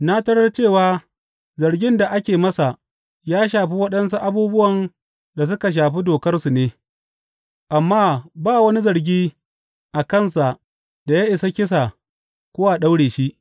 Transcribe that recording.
Na tarar cewa zargin da ake masa ya shafi waɗansu abubuwan da suka shafi dokarsu ne, amma ba wani zargi a kansa da ya isa kisa ko a daure shi.